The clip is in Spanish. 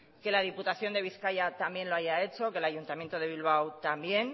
que la diputación de bizkaia también lo haya hecho que el ayuntamiento de bilbao también